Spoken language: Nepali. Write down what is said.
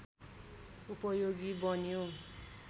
उपयोगी बन्यो